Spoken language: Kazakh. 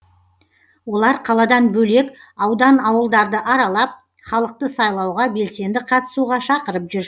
олар қаладан бөлек аудан ауылдарды аралап халықты сайлауға белсенді қатысуға шақырып жүр